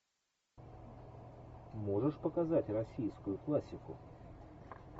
можешь показать российскую классику